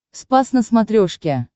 спас на смотрешке